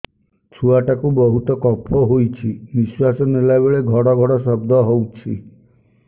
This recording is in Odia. ଛୁଆ ଟା କୁ ବହୁତ କଫ ହୋଇଛି ନିଶ୍ୱାସ ନେଲା ବେଳେ ଘଡ ଘଡ ଶବ୍ଦ ହଉଛି